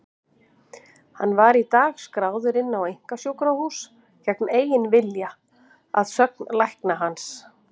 Hann var í dag skráður inn á einkasjúkrahús gegn eigin vilja, að sögn lækna hans.